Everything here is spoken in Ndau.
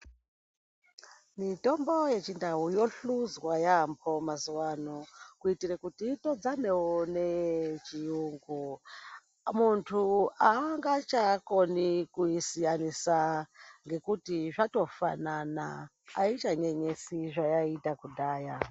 Mitombo yechiNdau yohluzwa yaambo mazuva ano kuitire kuti itodzanewo neyechiyungu. Muntu haangachaakoni kuisiyanisa ngekuti zvatofanana aichanyenyesi zvaaita kudhaya.